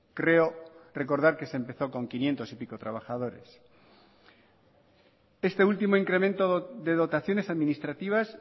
creo recordar que se empezó con quinientos y pico trabajadores este último incremento de dotaciones administrativas